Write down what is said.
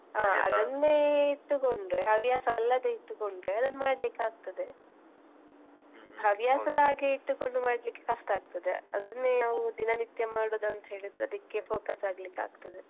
ಅದನ್ನೇ ಇಟ್ಟುಕೊಂಡ್ರೆ ಹವ್ಯಾಸ ಅಲ್ಲದೆ ಇಟ್ಟುಕೊಂಡ್ರೆ ಅದನ್ನು ಮಾಡ್ಲಿಕ್ಕೆ ಆಗ್ತದೆ ಹವ್ಯಾಸದ ಹಾಗೆ ಇಟ್ಟುಕೊಂಡು ಮಾಡ್ಲಿಕ್ಕೆ ಕಷ್ಟ ಆಗ್ತದೆ ಅದನ್ನೇ ನಾವು ದಿನನಿತ್ಯ ಮಾಡುದಂತ ಹೇಳಿದ್ರೆ ಅದಕ್ಕೇ focus ಆಗ್ಲಿಕ್ಕೆ ಆಗ್ತದೆ.